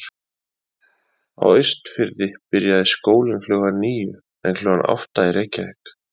Á Austurfirði byrjaði skólinn klukkan níu en klukkan átta í Reykjavík.